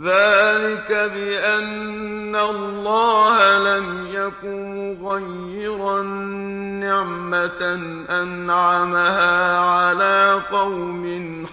ذَٰلِكَ بِأَنَّ اللَّهَ لَمْ يَكُ مُغَيِّرًا نِّعْمَةً أَنْعَمَهَا عَلَىٰ قَوْمٍ